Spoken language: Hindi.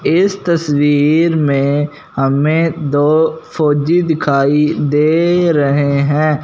इस तस्वीर में हमें दो फौजी दिखाई दे रहे हैं।